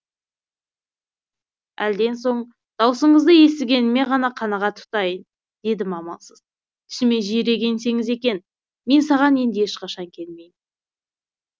әлден соң дауысыңызды естігеніме ғана қанағат тұтайын дедім амалсыз түсіме жиірек енсеңіз екен мен саған енді ешқашан келмеймін